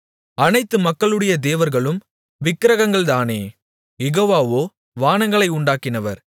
அனைத்து மக்களுடைய தேவர்களும் விக்கிரகங்கள்தானே யெகோவாவோ வானங்களை உண்டாக்கினவர்